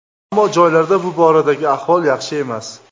Ammo joylarda bu boradagi ahvol yaxshi emas.